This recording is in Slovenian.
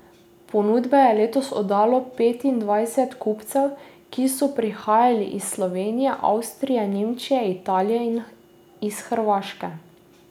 Ponudbe je letos oddalo petindvajset kupcev, ki so prihajali iz Slovenije, Avstrije, Nemčije, Italije in iz Hrvaške.